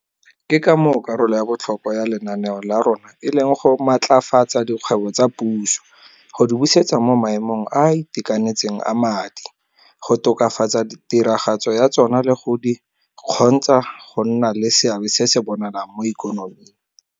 Ke ka moo karolo ya botlhokwa ya lenaneo la rona e leng go maatlafatsa dikgwebo tsa puso, go di busetsa mo maemong a a itekanetseng a madi, go tokafatsa tiragatso ya tsona le go di kgontsha go nna le seabe se se bonalang mo ikonoming.